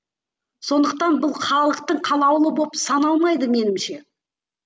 сондықтан бұл халықтың қалаулы болып саналмайды меніңше